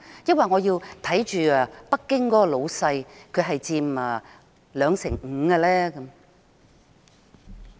抑或她要看重北京的老闆，他佔 25%？